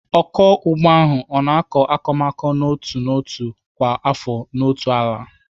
Ọkụ ugbo ahụ ọ na-akọ akụmakụ n'otu n'otu kwa afọ n'otu ala?